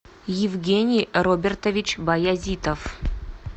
евгений робертович баязитов